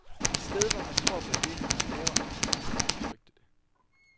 Et sted hvor man tror på det, man laver, som hun udtrykte det.